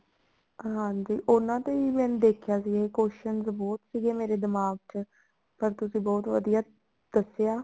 ਹਾਂਜੀ ਉਹਨਾ ਤੇ ਵੀ ਮੈਂ ਦੇਖਿਆ ਸੀ question ਬਹੁਤ ਸੀਗੇ ਮੇਰੇ ਦਿਮਾਗ ਚ ਪਰ ਤੁਸੀਂ ਬਹੁਤ ਵਧੀਆ ਦੱਸਿਆ